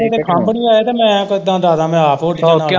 ਓਦੇ ਖੰਭ ਨੀ ਆਏ ਤੇ ਮੈਂ ਕਿਦਾ ਡਾ ਦਾ ਮੈਂ ਆਪ ਉੱਡ ਜਾਣਾ।